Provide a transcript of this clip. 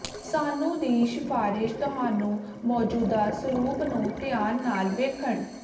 ਸਾਨੂੰ ਦੀ ਸਿਫਾਰਸ਼ ਤੁਹਾਨੂੰ ਮੌਜੂਦਾ ਸਰੂਪ ਨੂੰ ਧਿਆਨ ਨਾਲ ਵੇਖਣ